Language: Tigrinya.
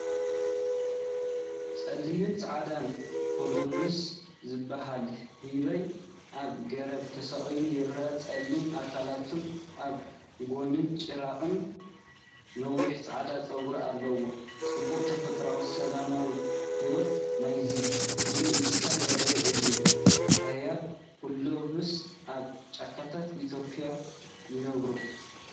ጸሊምን ጻዕዳን ኮሎቡስ ዝበሃል ህበይ ኣብ ገረብ ተሰቒሉ ይረአ። ጸሊም ኣካላቱን ኣብ ጎኑን ጭራኡን ነዊሕ ጻዕዳ ጸጉሪ ኣለዎ። ጽባቐ ተፈጥሮን ሰላማዊ ህይወት ናይዚ ፍሉይ እንስሳን ዘርኢ እዩ። ኣህባይ ኮሎቡስ ኣብ ጫካታት ኢትዮጵያ ይነብሩ።